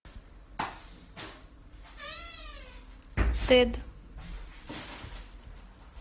тед